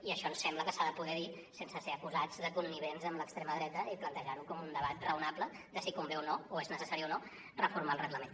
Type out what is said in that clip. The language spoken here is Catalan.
i això ens sembla que s’ha de poder dir sense ser acusats de connivents amb l’extrema dreta i plantejar ho com un debat raonable de si convé o no o és necessari o no reformar el reglament